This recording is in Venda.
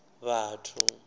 vhathu